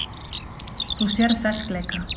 Þú sérð ferskleika.